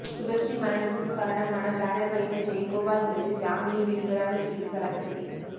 சுபஸ்ரீ மரணத்துக்கு காரணமான பேனர் வைத்த ஜெயகோபால் மீது ஜாமினில் வெளிவராத பிரிவில் வழக்குப்பதிவு